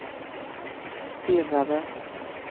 stirrade